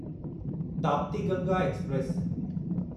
Tapti Ganga express